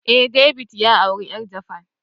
Eh, David ya aure yar japanese